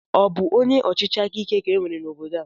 Ọ bụ onye ọchịchịakaike ka e nwere n'obodo a?